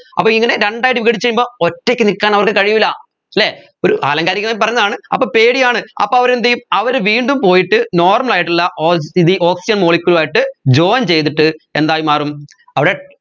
അപ്പോ ഇങ്ങനെ രണ്ടായിട്ട് വിഘടിച്ച് കഴിയുമ്പോ ഒറ്റയ്ക്ക് നിക്കാൻ അവർക്ക് കഴിയൂല അല്ലേ ഒരു ആലങ്കാരികമായി പറയുന്നതാണ് അപ്പോ പേടിയാണ് അപ്പോ അവർ എന്തുചെയ്യും അവർ വീണ്ടും പോയിട്ട് normal ആയിട്ടുള്ള ഓൾ ഇതി oxygen molecule ആയിട്ട് join ചെയ്തിട്ട് എന്തായി മാറും അവിടെ